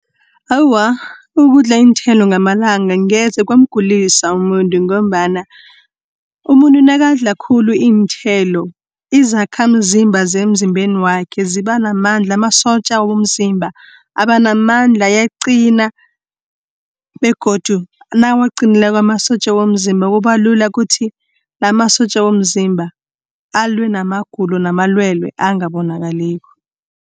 Awa ukudla iinthelo ngamalanga ngezekwamgulisa umuntu ngombana, umuntu nakadla khulu iinthelo izakhamzimba, zemzimbeni wakhe ziba namandla. Amasotja womzimba abanamandla ayaqina, begodu nawaqinileko amasotja womzimba, kubalula kuthi namasotja womzimba alwe namagulo namalwelwe angabonakaliko.